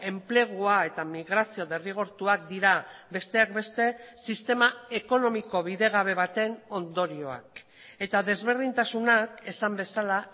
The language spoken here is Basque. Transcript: enplegua eta migrazio derrigortuak dira besteak beste sistema ekonomiko bidegabe baten ondorioak eta desberdintasunak esan bezala